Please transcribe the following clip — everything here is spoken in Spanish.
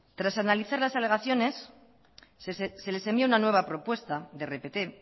tras analizar las alegaciones se les envía una nueva propuesta de rpt